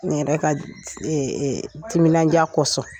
N yɛrɛ ka timinandiya kɔsɔn